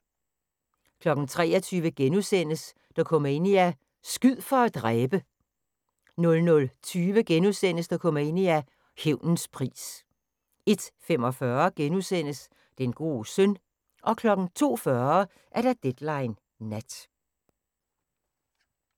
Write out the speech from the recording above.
23:00: Dokumania: Skyd for at dræbe! * 00:20: Dokumania: Hævnens pris * 01:45: Den gode søn * 02:40: Deadline Nat